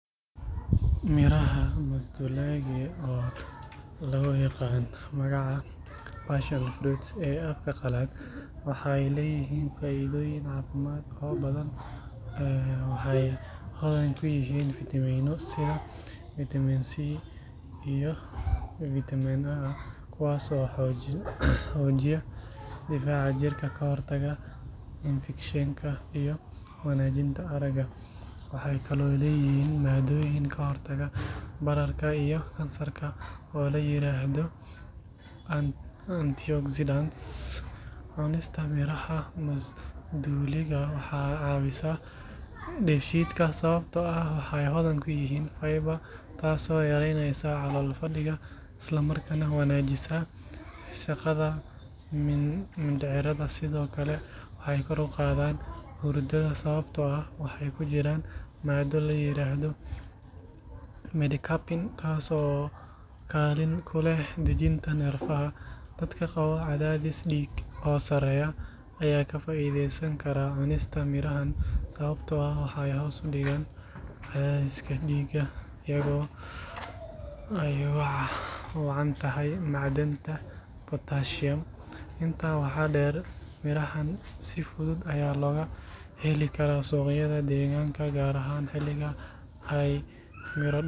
Digirta Faransiiska oo loo yaqaan French beans waa khudaar caan ah oo laga isticmaalo Kenya loona adeegsado cuntooyin kala duwan. Si loo diyaariyo digirta Faransiiska, marka hore waa in si fiican loo dhaqo si wasakhda iyo cayayaanka uga baxaan. Kadib, inta badan dadka waxay jar-jarayaan labada madax ee digirta. Waxaa lagu karin karaa dhowr hab. Habka koowaad waa in la kariyo muddo ku dhow shan ilaa toban daqiiqo iyadoo lagu daro milix yar si ay u jilcaan balse aysan lumin midabkooda cagaaran. Waxaa kale oo la karin karaa iyadoo lagu shiilayo saliid yar, basal iyo yaanyo si loo helo dhadhan macaan oo dheeri ah. Qaar kale waxay ku daraan toon, karootada iyo baradho la jarjaray si loo sameeyo cunto dhameystiran. Digirta Faransiiska sidoo kale waxay si fiican ula jaanqaadaan hilib digaag ama kalluun oo dhinac ah loogu daro. Cunto fududna waxay noqon kartaa marka la isku qaso French beans, basasha iyo ukun la shiilay. Cuntadaas waxay noqotaa mid nafaqo leh oo si degdeg ah loo karin karo.